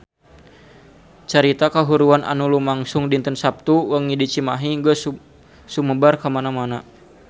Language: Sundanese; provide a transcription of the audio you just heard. Carita kahuruan anu lumangsung dinten Saptu wengi di Cimahi geus sumebar kamana-mana